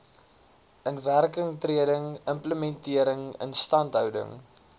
inwerkingtreding implementering instandhouding